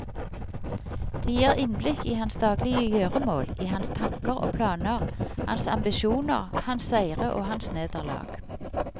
De gir innblikk i hans daglige gjøremål, i hans tanker og planer, hans ambisjoner, hans seire og hans nederlag.